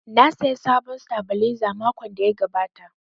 Na saya sabon sitabilizer makon da ya gabata